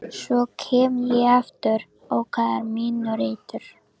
Svo kem ég aftur, það er minn réttur.